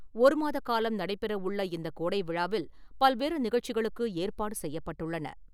ஒருமாத காலம் நடைபெற உள்ள இந்த கோடை விழாவில் பல்வேறு நிகழ்ச்சிகளுக்கு ஏற்பாடு செய்யப்பட்டுள்ளன.